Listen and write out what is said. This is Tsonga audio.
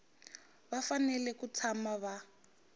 va fanele ku tshama va